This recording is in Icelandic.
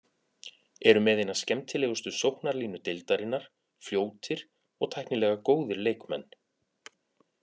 Eru með eina skemmtilegustu sóknarlínu deildarinnar, fljótir og tæknilega góðir leikmenn.